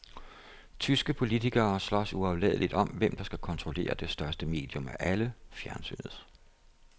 Tyske politikere slås uafladeligt om, hvem der skal kontrollere det største medium af alle, fjernsynet.